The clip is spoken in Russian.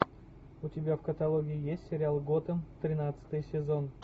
у тебя в каталоге есть сериал готэм тринадцатый сезон